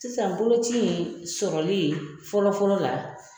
Sisan boloci sɔrɔli fɔlɔfɔlɔ la.